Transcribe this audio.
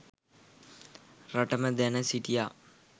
රටම දැන සිටියා